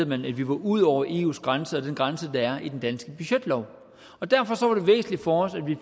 man at vi var ude over eus grænse og den grænse der er i den danske budgetlov derfor var det væsentligt for os at vi